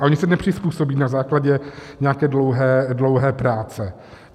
A oni se nepřizpůsobí na základě nějaké dlouhé práce.